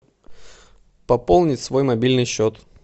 пополнить свой мобильный счет